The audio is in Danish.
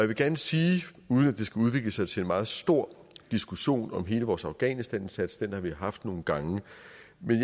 vil gerne sige uden at det skal udvikle sig til en meget stor diskussion om hele vores afghanistanindsats den har vi haft nogle gange